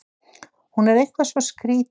Hún er eitthvað svo skrýtin.